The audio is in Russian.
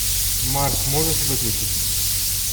марс можешь выключить